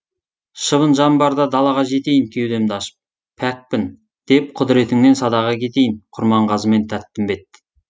шыбын жан барда далаға жетейін кеудемді ашып пәкпін деп құдіретіңнен садаға кетейін құрманғазы мен тәттімбет